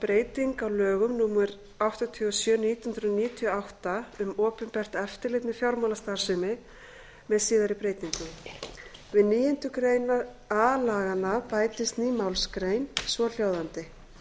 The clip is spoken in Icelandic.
á lögum númer áttatíu og sjö nítján hundruð níutíu og átta um opinbert eftirlit með fjármálastarfsemi með síðari breytingum við níundu grein a laganna bætist ný málsgrein svohljóðandi